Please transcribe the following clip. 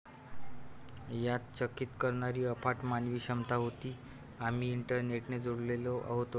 यात चकित करणारी अफाट मानवी क्षमता होती. आम्ही इंटरनेटने जोडलेले होतो.